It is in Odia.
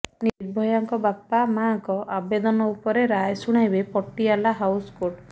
ନିର୍ଭୟାଙ୍କ ବାପା ମାଆଙ୍କ ଆବେଦନ ଉପରେ ରାୟ ଶୁଣାଇବେ ପଟିଆଲା ହାଉସ କୋର୍ଟ